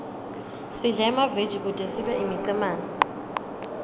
sidle emaveji kute sibe imicemane